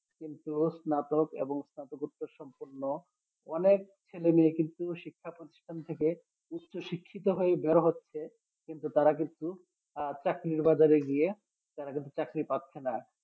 কিন্তু স্নাতক এবং স্নাতকোত্তর সম্পূর্ণ অনেক ছেলে মেয়ে কিন্তু শিক্ষা প্রতিষ্ঠান থেকে উচ্চ শিক্ষিত হয়ে বের হচ্ছে কিন্তু তারা কিন্তু আহ চাকরির বাজারে গিয়ে তারা কিন্তু চাকরি পাচ্ছেনা